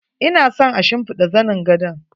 Ina son a shimfiɗa zanin gadon.